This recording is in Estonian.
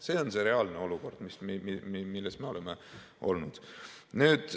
See on reaalne olukord, milles me oleme olnud.